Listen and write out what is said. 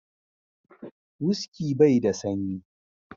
"Whisky " bai da sanyi.